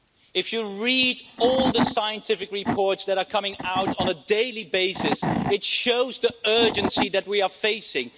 If you read all the scientific reports that are coming out on a daily basis, it shows the urgency that we are facing.